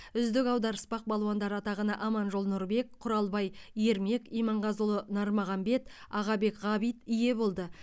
үздік аударыспақ балуандары атағына аманжол нұрбек құралбай ермек иманғазыұлы нармағанбет ағабек ғабит ие болды